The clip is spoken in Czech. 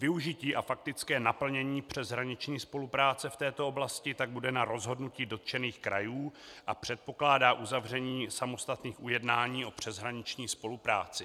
Využití a faktické naplnění přeshraniční spolupráce v této oblasti tak bude na rozhodnutí dotčených krajů a předpokládá uzavření samostatných ujednání o přeshraniční spolupráci.